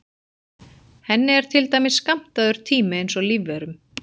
Henni er til dæmis skammtaður tími eins og lífverum.